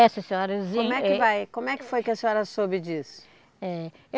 E, sim senhora sim eh... Como é que vai, como é que foi que a senhora soube disso? Eh